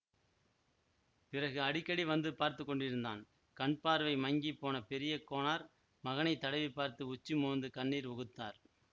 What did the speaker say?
பிறகு அடிக்கடி வந்து பார்த்து கொண்டிருந்தான் கண் பார்வை மங்கி போன பெரிய கோனார் மகனைத் தடவி பார்த்து உச்சி மோந்து கண்ணீர் உகுத்தார்